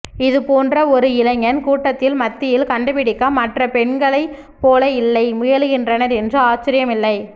இது போன்ற ஒரு இளைஞன் கூட்டத்தில் மத்தியில் கண்டுபிடிக்க மற்ற பெண்களை போல இல்லை முயலுகின்றனர் என்று ஆச்சரியம் இல்லை